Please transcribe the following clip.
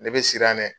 Ne bɛ siran dɛ